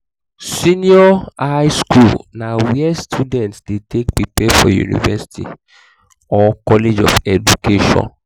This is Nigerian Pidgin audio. senior highschool na where students de take prepare for university or college of education